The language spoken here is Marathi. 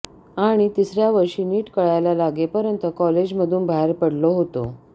आणि तिसऱ्या वर्षी नीट कळायला लागेपर्यंत कॉलेज मधून बाहेर पडलो होतो